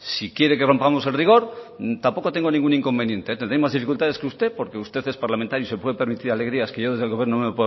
si quiere que rompamos el rigor tampoco tengo inconveniente tendré más dificultades que usted porque usted es parlamentario y se puede permitir alegrías que yo desde el gobierno no me